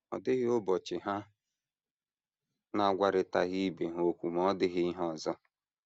Ọ dịghị ụbọchị ha na - agwarịtaghị ibe ha okwu ma ọ dịghị ihe ọzọ.